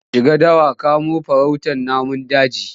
Za su shiga dawa kamo farautar namun daji.